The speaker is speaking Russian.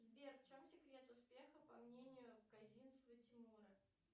сбер в чем секрет успеха по мнению козинцева тимура